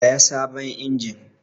Saya sabon injin!